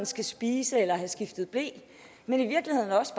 skal spise eller have skiftet ble men i virkeligheden også